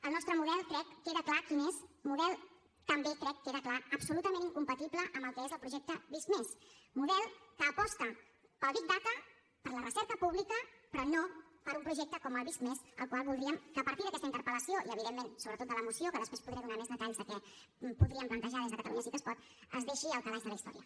el nostre model crec queda clar quin és model també crec que queda clar absolutament incompatible amb el que és el projecte visc+ model que aposta pel big data per la recerca pública però no per un projecte com el visc+ el qual voldríem que a partir d’aquesta interpel·lació i evidentment sobretot de la moció que després podré donar més detalls de què podríem plantejar des de catalunya sí que es pot es deixi al calaix de la història